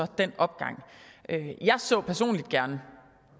den opgang jeg så personligt gerne